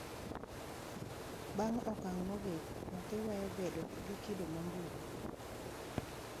Bang` okang` mogik, nyathi weyo bet gi kido mambulu.